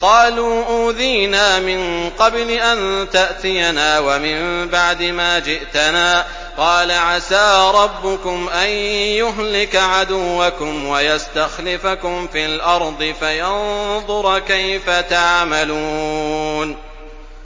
قَالُوا أُوذِينَا مِن قَبْلِ أَن تَأْتِيَنَا وَمِن بَعْدِ مَا جِئْتَنَا ۚ قَالَ عَسَىٰ رَبُّكُمْ أَن يُهْلِكَ عَدُوَّكُمْ وَيَسْتَخْلِفَكُمْ فِي الْأَرْضِ فَيَنظُرَ كَيْفَ تَعْمَلُونَ